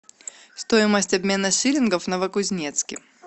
стоимость обмена шиллингов в новокузнецке